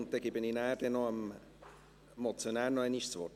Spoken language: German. Danach gebe ich dem Motionär noch einmal das Wort.